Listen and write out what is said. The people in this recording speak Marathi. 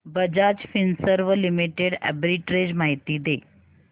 बजाज फिंसर्व लिमिटेड आर्बिट्रेज माहिती दे